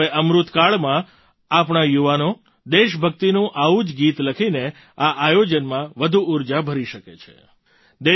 હવે અમૃતકાળમાં આપણા યુવાનો દેશભક્તિનું આવું જ ગીત લખીને આ આયોજનમાં વધુ ઊર્જા ભરી શકે છે